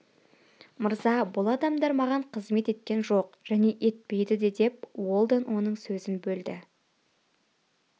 мыраза бұл адамдар маған қызмет еткен жоқ және етпейді де деп уэлдон оның сөзін бөлді